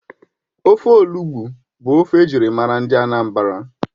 Ofe Olugbu bụ ofe ejirimara ndị Anambra